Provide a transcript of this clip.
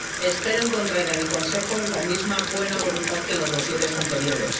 Espero encontrar en el Consejo la misma buena voluntad que en los dosieres anteriores.